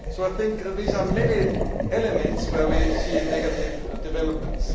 I think these are many elements where we see negative developments.